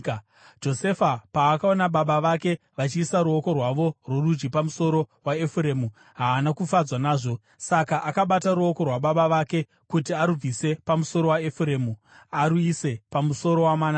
Josefa paakaona baba vake vachiisa ruoko rwavo rworudyi pamusoro waEfuremu haana kufadzwa nazvo; saka akabata ruoko rwababa vake kuti arubvise pamusoro waEfuremu aruise pamusoro waManase.